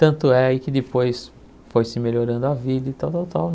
Tanto é que depois foi se melhorando a vida e tal, tal, tal.